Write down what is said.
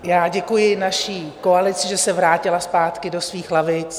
Já děkuji naší koalici, že se vrátila zpátky do svých lavic.